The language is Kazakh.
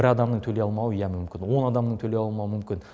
бір адамның төлей алмауы иә мүмкін он адамның төлей алмауы мүмкін